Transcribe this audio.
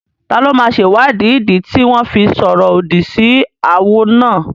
Taló máa sèwáàdí ìdí tí wọ́n fi sọ̀rọ̀ òdì sí awo náà?